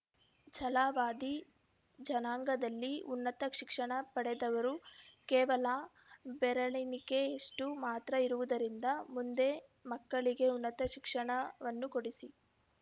ಛಲವಾದಿ ಜನಾಂಗದಲ್ಲಿ ಉನ್ನತ ಶಿಕ್ಷಣ ಪಡೆದವರು ಕೇವಲ ಬೆರಳೆಣಿಕೆಯಷ್ಟು ಮಾತ್ರ ಇರುವುದರಿಂದ ಮುಂದೆ ಮಕ್ಕಳಿಗೆ ಉನ್ನತ ಶಿಕ್ಷಣವನ್ನು ಕೊಡಿಸಿ